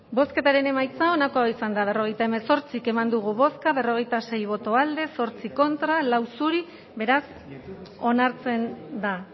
bai bozketaren emaitza onako izan da berrogeita hemezortzi eman dugu bozka berrogeita sei boto alde zortzi contra cuatro zuri beraz onartzen da